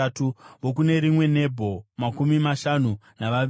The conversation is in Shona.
vokune rimwe Nebho; makumi mashanu navaviri;